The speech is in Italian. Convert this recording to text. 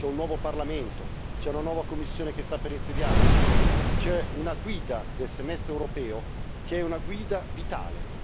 C'è un nuovo Parlamento, c'è una nuova Commissione che sta per insediarsi, c'è una guida del semestre europeo che è una guida vitale.